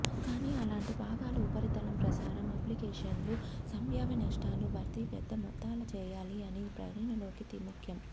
కానీ అలాంటి భాగాలు ఉపరితలం ప్రసారం అప్లికేషన్లు సంభావ్య నష్టాలు భర్తీ పెద్ద మొత్తాల చేయాలి అని పరిగణలోకి ముఖ్యం